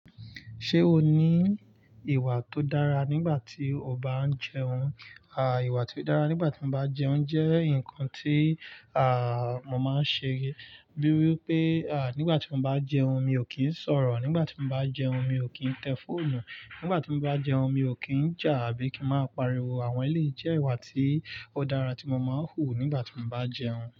Ṣé o ní ìwà tó dára nígbà tí o bá ń jẹun? À, ìwà tí ó dára nígbà tí mo bá jẹun jẹ́ nǹkan tí, àà, mo máa ń ṣe. Bíi wípé, àà, nígbà tí mo bá jẹun mi ò kí ń sọ̀rọ̀, nígbà tí mo bá jẹun mi ò kí ń tẹ fóònù, nígbà tí mo bá jẹun mi ò kí ń jà àbí kí ń máa pariwo. Àwọn ẹléyìí jẹ́ ìwà tí ó dára tí mo máa ń hù nígbà tí mo bá jẹun.